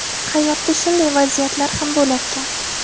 Hayotda shunday vaziyatlar ham bo‘larkan.